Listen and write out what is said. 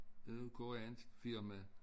Det koreanske firma